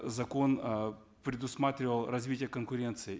закон э предусматривал развитие конкуренции